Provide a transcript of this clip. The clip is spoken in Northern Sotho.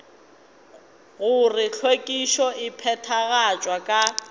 gore hlwekišo e phethagatšwa ka